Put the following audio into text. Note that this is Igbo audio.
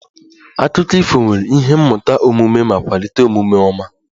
Akụkọ ifo nwere ihe mmụta omume ma kwalite omume ọma